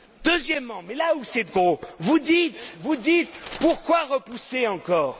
Deuxièmement, mais là c'est gros, vous dites pourquoi repousser encore?